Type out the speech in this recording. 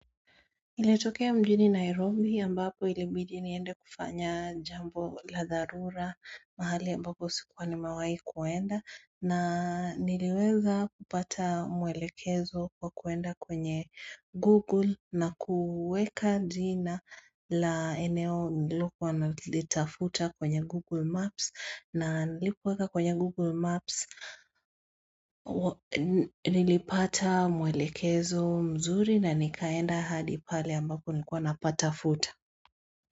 Lilitokea mjini Nairobi ambapo ilibidi niende kufanya jambo la dharura mahali ambapo sikuwa nimewai kuenda na niliweza kupata mwelekezo kwa kuenda kwenye google na kuweka jina la eneo nililokuwa nalitafuta kwenye google maps na nilipoweka kwenye google maps nilipata mwelekezo mzuri na nikaenda hadi pale ambapo nilkuwa napatafuta.